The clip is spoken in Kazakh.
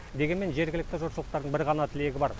дегенмен жергілікті жұртшылықтардың бір ғана тілегі бар